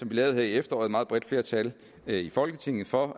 vi lavede her i efteråret et meget bredt flertal i folketinget for